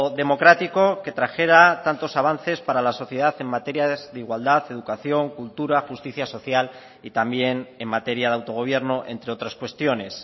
democrático que trajera tantos avances para la sociedad en materias de igualdad educación cultura justicia social y también en materia de autogobierno entre otras cuestiones